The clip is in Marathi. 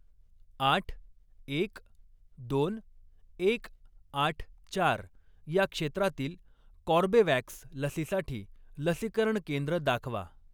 आठ, एक, दोन, एक, आठ, चार या क्षेत्रातील कॉर्बेवॅक्स लसीसाठी लसीकरण केंद्र दाखवा.